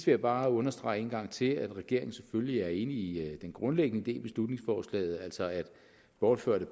jeg bare understrege en gang til at regeringen selvfølgelig er enig i den grundlæggende idé i beslutningsforslaget altså at bortførte